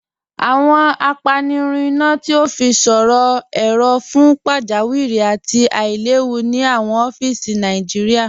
Awọn àpànirùn iná tó fi sọ̀rọ̀ èró̀ fún pàjàwìrí àti àìlẹ̀wù ni awọn ọfíìsì Nàìjíríà.